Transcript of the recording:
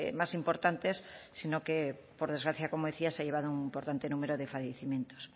más importantes sino que por desgracia como decía se ha llevado un importante número de fallecimientos